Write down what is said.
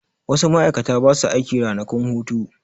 Wasu ma'aikata ba su aiki ranakun hutu.